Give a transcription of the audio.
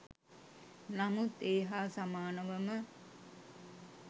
නමුත් ඒ හා සමානවම